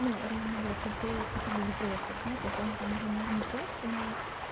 ну реально брать людей хотя бы взрослых да то есть ладно там уже не профи но